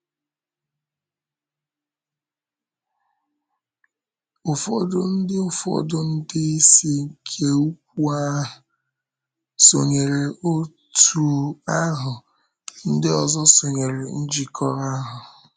Ụfọdụ ndị Ụfọdụ ndị isi nke ukwu ahụ sonyèrè Òtù ahụ, ndị ọzọ sonyèrè Njikọ ahụ.